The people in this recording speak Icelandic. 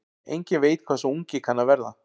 Enginn veit hvað sá ungi kann að verða.